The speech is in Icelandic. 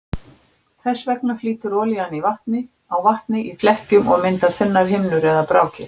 Þess vegna flýtur olían á vatni í flekkjum og myndar þunnar himnur eða brákir.